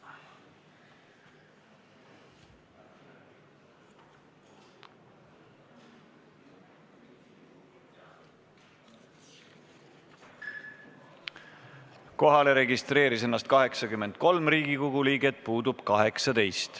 Kohaloleku kontroll Kohalolijaks registreeris ennast 83 Riigikogu liiget, puudub 18.